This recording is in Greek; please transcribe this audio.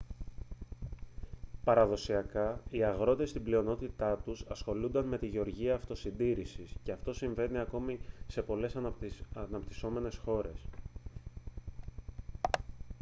παραδοσιακά οι αγρότες στην πλειονότητά τους ασχολούνταν με τη γεωργία αυτοσυντήρησης και αυτό συμβαίνει ακόμη σε πολλές αναπτυσσόμενες χώρες